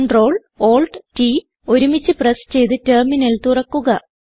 Ctrl Alt T ഒരുമിച്ച് press ചെയ്ത് terminal തുറക്കുക